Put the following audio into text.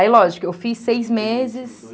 Aí, lógico, eu fiz seis meses.